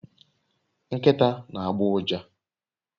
Nkita na agba uja